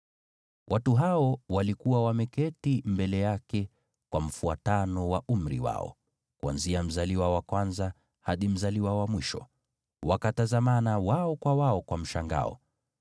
Watu hao walikuwa wameketi mbele yake kwa mfuatano wa umri wao, kuanzia mzaliwa wa kwanza hadi mzaliwa wa mwisho, wakatazamana wao kwa wao kwa mshangao.